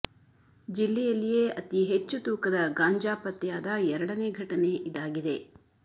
ಜಿಲ್ಲೆಯಲ್ಲಿಯೇ ಅತಿ ಹೆಚ್ಚು ತೂಕದ ಗಾಂಜಾ ಪತ್ತೆಯಾದ ಎರಡನೆ ಘಟನೆ ಇದಾಗಿದೆ